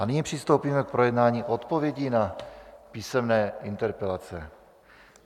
A nyní přistoupíme k projednávání odpovědí na písemné interpelace.